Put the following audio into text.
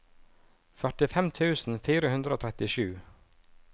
førtifem tusen fire hundre og trettisju